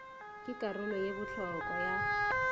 ke karolo ye bohlokwa ya